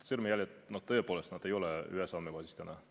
Sõrmejäljed tõepoolest ei ole ühes andmebaasis täna.